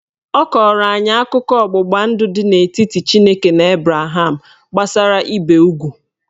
Ọ kọrọ anyị akụkọ ọgbụgba ndụ dị n'etiti Chineke na Abraham gbasara ibe ugwu